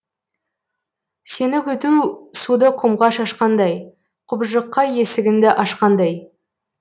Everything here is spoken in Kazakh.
сені күту суды құмға шашқандай құбыжыққа есігіңді ашқандай